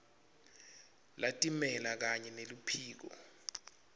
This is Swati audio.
latimele kanye neluphiko